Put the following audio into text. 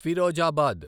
Firozabad